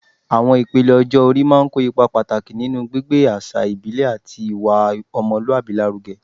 Awọn ipele ọjọ-ori máa ń kó ipa pàtàkì nínú gbígbé àṣà ìbílẹ̀ àti ìwà ọmọlúwàbí lárugẹ